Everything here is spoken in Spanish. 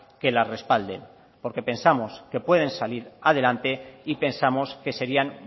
que la respalden porque pensamos que pueden salir adelante y pensamos que serían